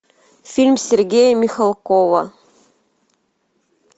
фильм сергея михалкова